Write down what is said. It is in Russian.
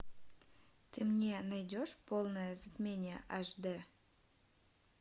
ты мне найдешь полное затмение аш д